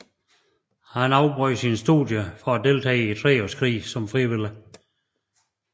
Han afbrød sine studier for at deltage i Treårskrigen som frivillig